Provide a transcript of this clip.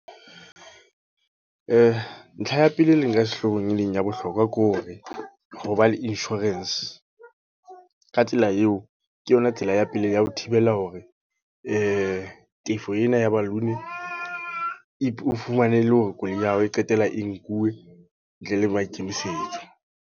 Ntlha ya pele e leng ka sehloohong e leng ya bohlokwa ke hore, hoba le insurance. Ka tsela eo, ke yona tsela ya pele ya ho thibela hore tefo ena ya balloon. O fumane e le hore koloi ya hao e qetella e nkuwe, ntle le maikemisetso.